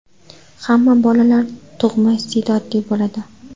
Hamma bolalar tug‘ma iste’dodli bo‘ladi.